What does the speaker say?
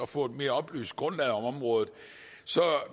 få et mere oplyst grundlag på området